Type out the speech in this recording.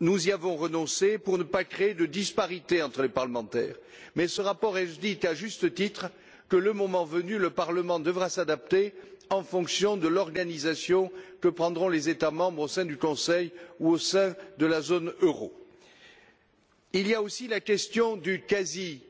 Nous y avons renoncé pour ne pas créer de disparité entre les parlementaires, mais ce rapport indique, et, à juste titre, que, le moment venu, le Parlement devra s'adapter en fonction de l'organisation que prendront les États membres au sein du Conseil ou au sein de la zone euro. Il y a aussi la question du quasi